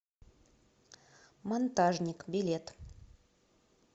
монтажник билет